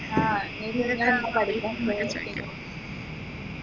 നമ്മുക്ക് try ചെയ്യാം